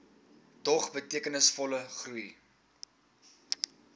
dog betekenisvolle groei